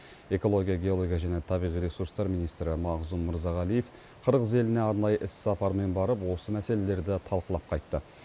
экология геология және табиғи ресурстар министрі мағзұм мырзағалиев қырғыз еліне арнайы іссапармен барып осы мәселелерді талқылап қайтты